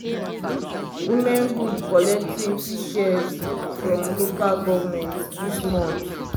women group collect twenty shears from local govment this month.